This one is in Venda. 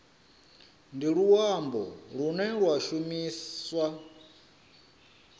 ndi luambo lune lwa shumiswa